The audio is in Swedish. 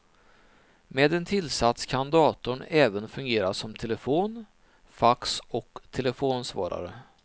Med en tillsats kan datorn även fungera som telefon, fax och telefonsvarare.